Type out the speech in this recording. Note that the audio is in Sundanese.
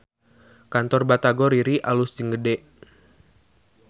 Kantor Batagor Riri alus jeung gede